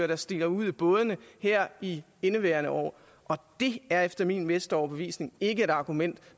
der stikker ud i bådene her i indeværende år og det er efter min bedste overbevisning ikke et argument